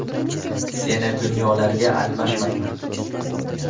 Seni dunyolarga almashmayman.